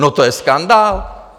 No to je skandál!